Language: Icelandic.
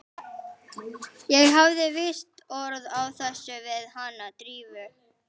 Ég hafði víst orð á þessu við hana Drífu.